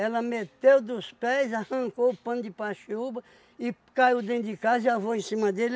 Ela meteu dos pés, arrancou o pano de paxiúba e caiu dentro de casa e avou em cima dele.